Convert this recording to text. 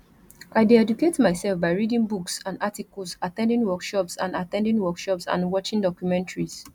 i dey educate myself by reading books and articles at ten ding workshops and at ten ding workshops and watching documentaries